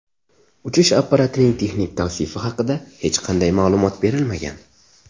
Uchish apparatining texnik tavsifi haqida hech qanday ma’lumot berilmagan.